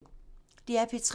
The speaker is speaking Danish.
DR P3